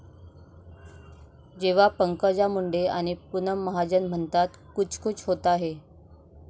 जेव्हा पंकजा मुंडे आणि पूनम महाजन म्हणतात, कुछ कुछ होता है!